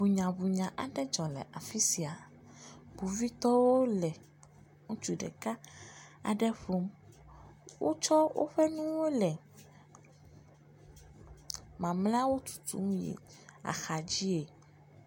Ŋunyaŋunya aɖe dzɔ le afi sia, kpovitɔwo le ŋutsu ɖeka aɖe ƒom, wotsɔ woƒe nuwo le mamleawo tutum yi axa dzie.